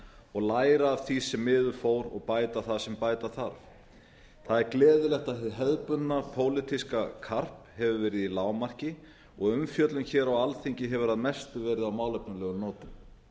og læra af því sem miður fór og bæta það sem bæta þarf það er gleðilegt að hið hefðbundna pólitíska karp hefur verið í lágmarki og umfjöllun hér á alþingi hefur að mestu verið á málefnalegum nótum